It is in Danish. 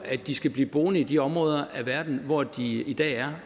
at de skal blive boende i de områder af verden hvor de i dag er